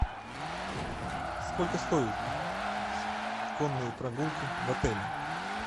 сколько стоит конные прогулки в отеле